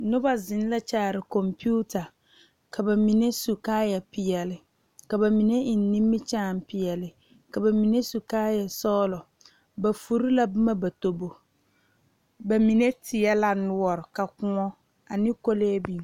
Noba zeŋ la kyaare konpita ka bamine su kaaya peɛle ka bamine eŋ nimikyaane peɛle ka bamine su kaaya sɔglɔ ba fure la boma ba tobo bamine teɛ la noɔre ka kõɔ ane kole biŋ.